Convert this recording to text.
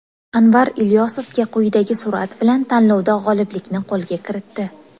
Anvar Ilyosovga quyidagi surat bilan tanlovda g‘oliblikni qo‘lga kiritdi.